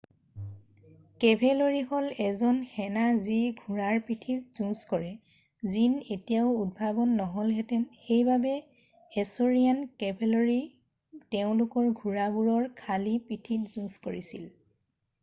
cavalry হল এজন সেনা যি ঘোঁৰাৰ পিঠিত যুজঁ কৰে জিন এতিয়াও উদ্ভাৱন নহলহেতেন সেইবাবে এছৰিয়ান কেভেলৰি তেওঁলোকৰ ঘোঁৰাবোৰৰ খালি পিঠিত যুজঁ কৰিছিল